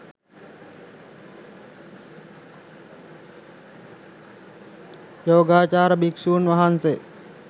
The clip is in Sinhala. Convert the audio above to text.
යෝගාවචර භික්‍ෂූන් වහන්සේ